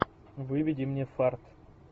выведи мне фарт